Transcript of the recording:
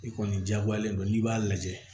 I kɔni jagoyalen don n'i b'a lajɛ